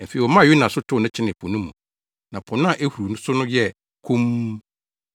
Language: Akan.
Afei, wɔmaa Yona so tow no kyenee po no mu, na po a na ehuru so no yɛɛ komm.